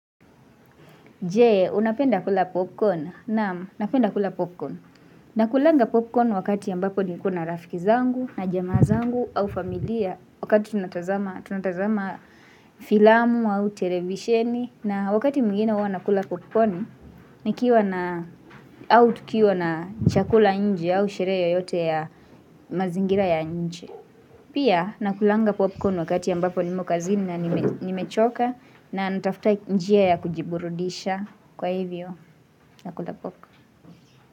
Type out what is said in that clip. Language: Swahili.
Jee, unapenda kula popcorn? Nam, napenda kula popcorn. Nakulanga popcorn wakati yambapo nikona na rafiki zangu, na jama zangu, au familia, wakati tunatazama filamu au televisheni, na wakati mwingine uwa nakula popcorn, nikiwa na, au tukiwa na chakula nje au shere yoyote ya mazingira ya nje. Pia nakulanga popcorn wakati yambapo nimo kazini na nimechoka na natafuta njia ya kujiburudisha kwa hivyo nakulapoka.